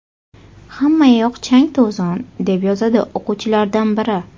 Hammayoq chang-to‘zon”, deb yozadi o‘quvchilardan biri.